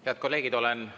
Head kolleegid!